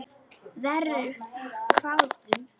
Verr, hváðum við.